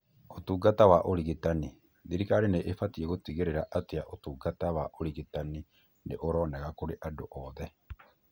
ũtungata wa ũrigitani: Thirikari nĩ ĩbatie gũtigĩrĩra atĩa ũtungata wa ũrigitani nĩ ũronekana kũrĩ andũ othe,